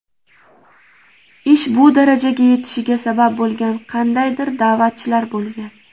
Ish bu darajaga yetishiga sabab bo‘lgan qandaydir da’vatchilar bo‘lgan.